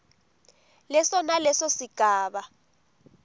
leso naleso sigaba